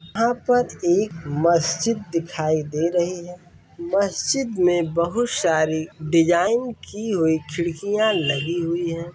यहाँ पर एक मस्जिद दिखाई दे रही है मस्जिद में बहुत सारे डिज़ाइन की हुई खिड़कियाँ लगी हुयी हैं।